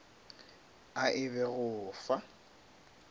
a e be go fa